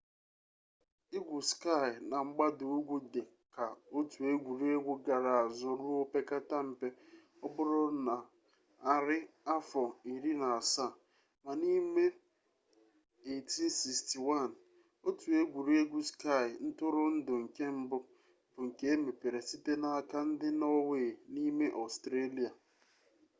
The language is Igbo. igwu skii na mgbada ugwu dị ka otu egwuregwu gara azụ ruo opekata mpe ọ bụrụ na arị afọ iri na asaa ma n'ime 1861 otu egwuregwu skii ntụrụndụ nke mbụ bụ nke emepere site n'aka ndị nọọwei n'ime ọstrelịa